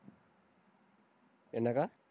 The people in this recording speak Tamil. என்னக்கா?